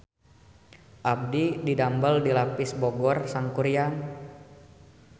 Abdi didamel di Lapis Bogor Sangkuriang